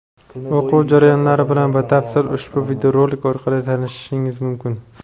O‘quv jarayonlari bilan batafsil ushbu videorolik orqali tanishishingiz mumkin.